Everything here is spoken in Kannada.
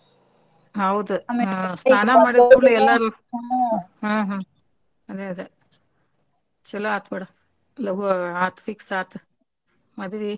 ಹೌದು ಹ್ಮ್ ಹ್ಮ್ ಚೊಲೊ ಆತ್ಬಿಡ ಲಗು ಆತ್ fix ಆತ್ ಮದಿವಿ.